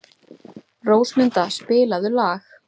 Rósmunda, spilaðu lag.